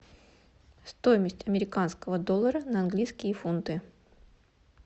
стоимость американского доллара на английские фунты